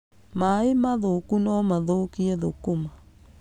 Maaĩ mathũku no mathũkie thũkũma.